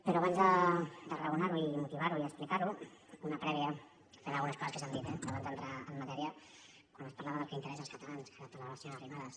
però abans de raonar ho i motivar ho i explicar ho una prèvia referent a algunes coses que s’han dit abans d’entrar en matèria quan es parlava del que interessa els catalans que ara en parlava la senyora arrimadas